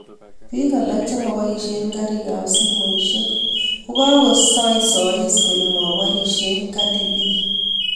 biik alak cheboishien karikab simushiek kokoisoesoishie kole maborishie Cardi B